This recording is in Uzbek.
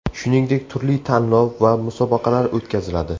Shuningdek, turli tanlov va musobaqalar o‘tkaziladi.